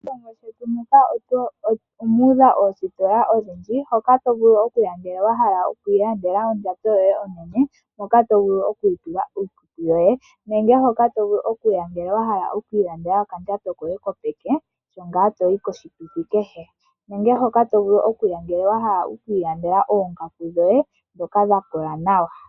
Moshilongo shetu muka omu udha oositola odhindji hoka to vulu okuya ngele wa hala okwiilandela ondjato yoye onene moka to vulu okutula iikutu yoye, nenege hoka to vulu okuya ngele wa hala okwiilandela okandjato koye kopeke kokuya koshituthi kehe, nenge hoka to vulu okuya ngele wa hala okwiilandela oongaku dhoye ndhoka dha kola nawa.